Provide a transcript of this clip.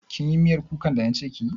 Kin yi miyar kukan da na ce kiyi?